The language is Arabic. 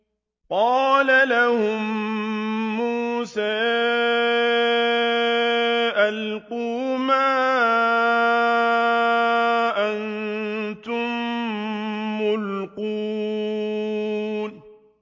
قَالَ لَهُم مُّوسَىٰ أَلْقُوا مَا أَنتُم مُّلْقُونَ